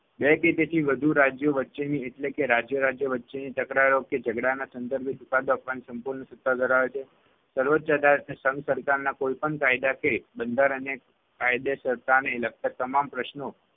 બે કે તેથી રાજ્યો વચ્ચેની એટલે કે રાજ્ય-રાજ્ય વચ્ચેની તકરારો કે ઝગડાના સંદર્ભે ચુકાદો આપવાની સંપૂર્ણ સત્તા ધરાવે છે. સર્વોચ્ય અદાલતને સંઘ સરકારના કોઈપણ કાયદા કે બંધારણીય કાયદેસરતાને લગતા તમામ પ્રશ્નો